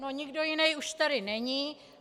No, nikdo jiný už tady není.